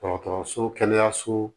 Dɔgɔtɔrɔso kɛnɛyaso